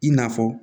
I n'a fɔ